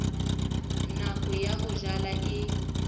nako ya ho jala e